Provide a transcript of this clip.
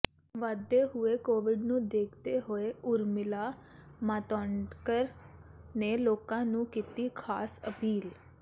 ਵੱਧਦੇ ਹੋਏ ਕੋਵਿਡ ਨੂੰ ਦੇਖਦੇ ਹੋਏ ਉਰਮਿਲਾ ਮਾਤੋਂਡਕਰ ਨੇ ਲੋਕਾਂ ਨੂੰ ਕੀਤੀ ਖਾਸ ਅਪੀਲ